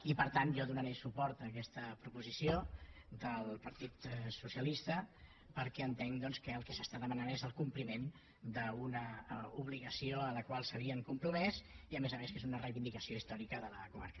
i per tant jo donaré suport a aquesta proposició del partit socialista perquè entenc doncs que el que s’està demanant és el compliment d’una obligació a la qual s’havien compromès i a més a més que és una reivindicació històrica de la comarca